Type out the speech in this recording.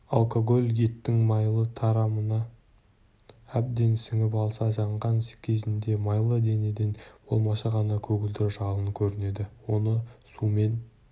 алкоголь еттің майлы тарамына әбден сіңіп алса жанған кезінде майлы денеден болмашы ғана көгілдір жалын көрінеді оны сумен